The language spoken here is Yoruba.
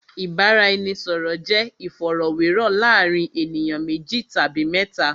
Ìbáraẹnisọ̀rọ̀ jẹ́ ìfọ̀rọ̀wérọ̀ láàárín ènìyàn méjì tàbí mẹ́ta.